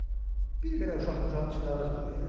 bir belə uşaq-muşaqın içində ağac böyüyər?